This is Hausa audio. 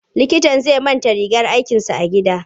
Likitan zai manta rigar aikinsa a gida.